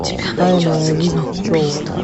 тайная жизнь пчел